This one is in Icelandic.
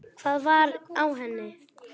Hvað var á henni?